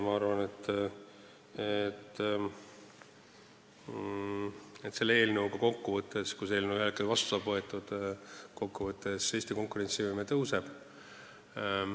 Ma arvan, et kui see eelnõu saab ühel hetkel seadusena vastu võetud, siis Eesti konkurentsivõime kokkuvõttes tõuseb.